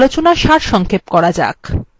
এতক্ষণের আলোচনার সারসংক্ষেপ করা যাক